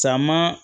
Caman